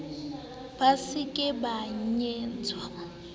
ba se ke ba nyantsha